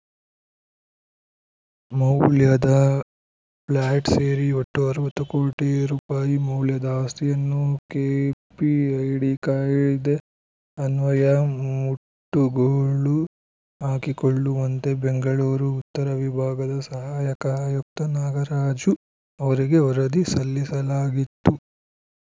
ಮೌಲ್ಯದ ಫ್ಲ್ಯಾಟ್‌ ಸೇರಿ ಒಟ್ಟು ಅರವತ್ತು ಕೋಟಿ ರುಪಾಯಿ ಮೌಲ್ಯದ ಆಸ್ತಿಯನ್ನು ಕೆಪಿಐಡಿ ಕಾಯ್ದೆ ಅನ್ವಯ ಮುಟ್ಟುಗೋಲು ಹಾಕಿಕೊಳ್ಳುವಂತೆ ಬೆಂಗಳೂರು ಉತ್ತರ ವಿಭಾಗದ ಸಹಾಯಕ ಆಯುಕ್ತ ನಾಗರಾಜು ಅವರಿಗೆ ವರದಿ ಸಲ್ಲಿಸಲಾಗಿತ್ತು